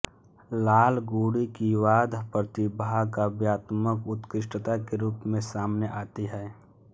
लालगुडी की वाद्य प्रतिभा काव्यात्मक उत्कृष्टता के रूप में सामने आती है